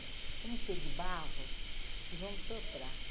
Vamos encher de barro e vamos soprar.